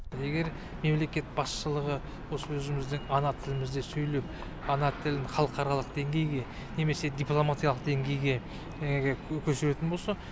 егер мемлекет басшылығы осы өзіміздің ана тілімізде сөйлеп ана тілін халықаралық деңгейге немесе дипломатиялық деңгейге өсіретін болса